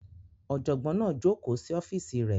Ọ̀jọ̀gbọ́n náà jókòó sí ọ́fíìsì rẹ̀